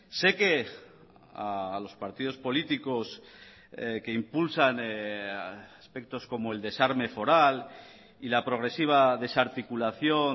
sé que a los partidos políticos que impulsan aspectos como el desarme foral y la progresiva desarticulación